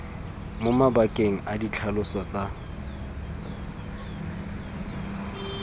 mo mabakeng a ditlhaloso tsa